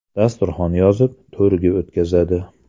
Dasturxon yozib, to‘rga o‘tqazadi.